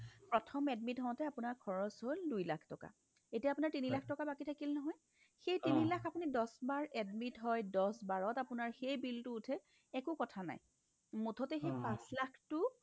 প্ৰথম admit হওতে আপোনাৰ খৰচ হ'ল দুই লাখ টকা এতিয়া আপোনাৰ তিনি লাখ টকা বাকী থাকিল নহয় সেই তিনি লাখ আপুনি দছবাৰ আপুনি admit হয় দছবাৰত সেই বিলটো উঠে একো কথা নাই মুঠতে সেই পাচ লাখটো